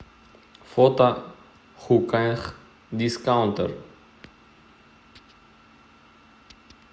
фото хуках дискаунтер